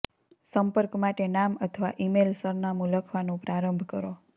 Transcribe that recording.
સંપર્ક માટે નામ અથવા ઇમેઇલ સરનામું લખવાનું પ્રારંભ કરો